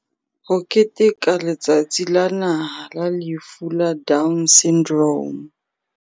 Ho keteka Letsatsi la Naha la Lefu la Down Syndrome